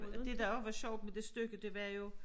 Og det der også var sjovt med det stykke det var jo